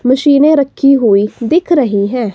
मशीनें रखी हुई दिख रही हैं।